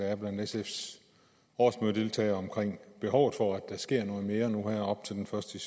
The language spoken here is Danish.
er blandt sfs årsmødedeltagere om behovet for at der sker noget mere op til den første